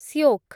ଶ୍ୟୋକ୍